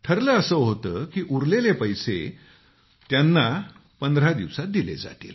ठरलं असं होतं की उरलेले पूर्ण पैसे त्यांना पंधरा दिवसांत दिले जातील